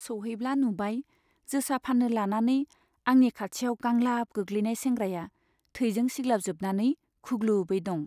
सौहैब्ला नुबाय, जोसा फान्नो लानानै आंनि खाथियाव गांलाब गोग्लैनाय सेंग्राया थैजों सिग्लाबजोबनानै खुग्लुबै दं।